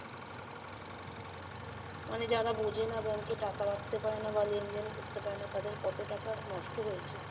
মানে যারা বোঝে না bank এ টাকা রাখতে পারে না বা লেনদেন করতে পারেনা তাদের কত টাকা নষ্ট হয়েছে